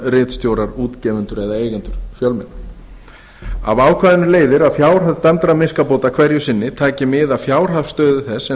ritstjórar útgefendur eða eigendur fjölmiðla af ákvæðinu leiðir að fjárhæð dæmdra miskabóta hverju sinni taki mið af fjárhagsstöðu þess sem